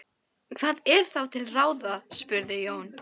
Hvað er þá til ráða? spurði Jón.